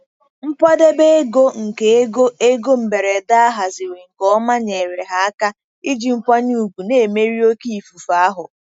Nkwadebe ego nke ego ego mberede a haziri nke ọma nyeere ha aka iji nkwanye ùgwù na-emeri oké ifufe ahụ.